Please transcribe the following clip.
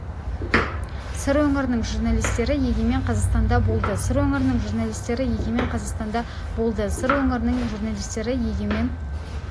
сыр өңірінің журналистері егемен қазақстанда болды сыр өңірінің журналистері егемен қазақстанда болды сыр өңірінің журналистері егемен